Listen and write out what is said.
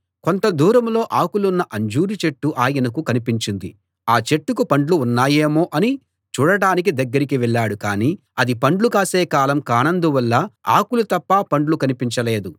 కొంత దూరంలో ఆకులున్న అంజూరు చెట్టు ఆయనకు కనిపించింది ఆ చెట్టుకు పండ్లు ఉన్నాయేమో అని చూడడానికి దగ్గరికి వెళ్ళాడు కాని అది పండ్లు కాసే కాలం కానందువల్ల ఆకులు తప్ప పండ్లు కనిపించలేదు